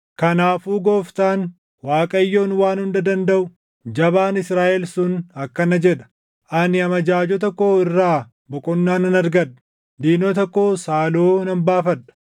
Kanaafuu Gooftaan, Waaqayyoon Waan Hunda Dandaʼu, Jabaan Israaʼel sun akkana jedha: “Ani amajaajota koo irraa boqonnaa nan argadha; diinota koos haaloo nan baafadha.